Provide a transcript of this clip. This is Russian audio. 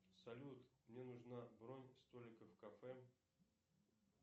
салют мне нужна бронь столика в кафе